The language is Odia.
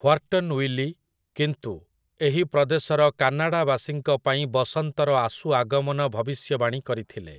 ହ୍ୱାର୍ଟନ୍ ୱିଲି, କିନ୍ତୁ, ଏହି ପ୍ରଦେଶର କାନାଡ଼ାବାସୀଙ୍କ ପାଇଁ ବସନ୍ତର ଆଶୁ ଆଗମନ ଭବିଷ୍ୟବାଣୀ କରିଥିଲେ ।